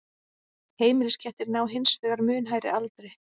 heimiliskettir ná hins vegar mun hærri aldri